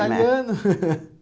Italiano.